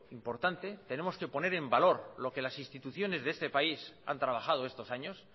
importante tenemos que poner en valor lo que las instituciones de este país han trabajado estos años